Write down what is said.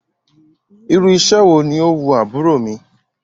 Irú iṣẹ́ wo ni ó wu àbúrò mi?